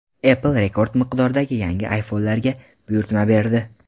Apple rekord miqdordagi yangi iPhone’larga buyurtma berdi.